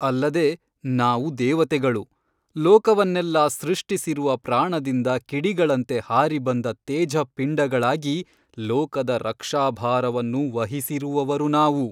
ಅಲ್ಲದೆ ನಾವು ದೇವತೆಗಳು ಲೋಕವನ್ನೆಲ್ಲಾ ಸೃಷ್ಟಿಸಿರುವ ಪ್ರಾಣದಿಂದ ಕಿಡಿಗಳಂತೆ ಹಾರಿ ಬಂದ ತೇಜಃಪಿಂಡಗಳಾಗಿ ಲೋಕದ ರಕ್ಷಾಭಾರವನ್ನು ವಹಿಸಿರುವವರು ನಾವು.